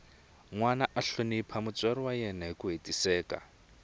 nwana a hlonipha mutswari wa yena hiku hetiseka